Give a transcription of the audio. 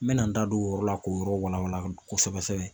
N bɛna n da don o yɔrɔ la k'o yɔrɔ walawala kosɛbɛ sɛbɛ